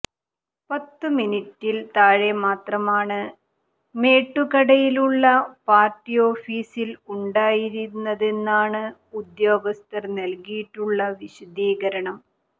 പത്തുമിനിറ്റിൽ താഴെ മാത്രമാണ് മേട്ടുകടയിലുള്ള പാർട്ടി ഓഫീസിൽ ഉണ്ടായിരുന്നതെന്നാണ് ഉദ്യോഗസ്ഥർ നൽകിയിട്ടുള്ള വിശദീകരണം